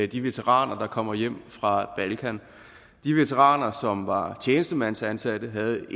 de veteraner der kommer hjem fra balkan de veteraner som var tjenestemandsansatte havde